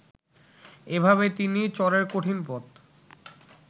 এভাবেই তিনি চরের কঠিন পথ